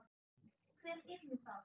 Hver yrði það?